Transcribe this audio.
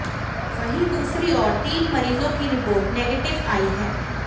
वहीं दूसरी ओर तीन मरीजों की रिपोर्ट नेगटिव आई है